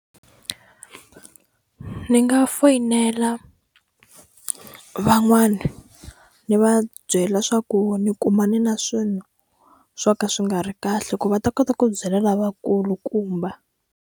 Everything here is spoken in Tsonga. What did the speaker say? Ni nga foyinela van'wani ni va byela swa ku ni kumane na swilo swo ka swi nga ri kahle ku va ta kota ku byela lavakulukumba.